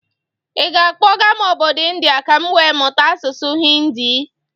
Ị ga akpọga m obodo India ka m wee mụta asụsụ Hinidi?